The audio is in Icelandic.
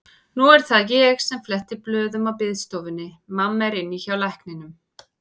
Nú er það ég sem fletti blöðum á biðstofunni, mamma er inni hjá lækninum.